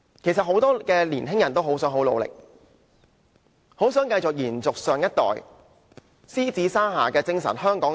其實，很多年青人也很想努力，很想延續上一代那"獅子山下"精神和香港故事。